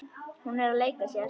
Hún er að leika sér.